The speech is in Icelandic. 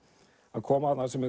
að koma sem